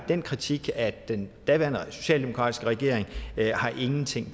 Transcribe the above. den kritik af den daværende socialdemokratiske regering ingenting